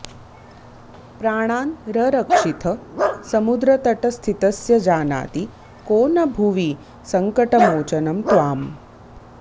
प्राणान् ररक्षिथ समुद्रतटस्थितस्य जानाति को न भुवि सङ्कटमोचनं त्वाम्